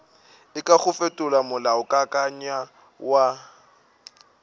e kago fetola molaokakanywa wa